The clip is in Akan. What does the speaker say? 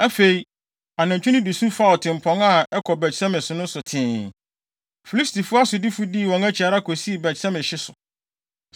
Afei, anantwi no de su faa ɔtempɔn a ɛkɔ Bet-Semes no so tee. Filistifo asodifo dii wɔn akyi ara kosii Bet-Semes hye so.